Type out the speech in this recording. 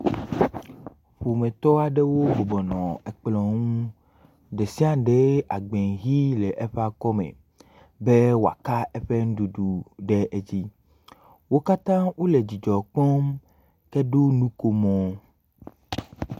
Ƒometɔ aɖewo bɔbɔnɔ ekplɔ ŋu. Ɖe si aɖe agba ʋi le eƒe akɔme be wo aka eƒe nuɖuɖu ɖe edzi. Wo kata wo le dzidzɔ kpɔm heɖo nukomo.